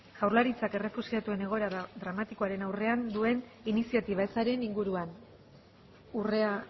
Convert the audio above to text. jaurlaritzak errefuxiatuen egoera dramatikoaren aurrean duen iniziatiba ezaren inguruan urrea